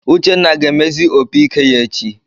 Uchenna ga-emezi opiike ya echi.